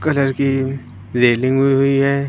Colour की railing हुई हुई है।